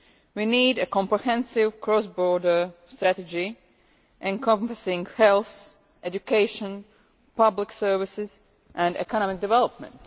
We need a comprehensive cross-border strategy encompassing health, education, public services and economic development.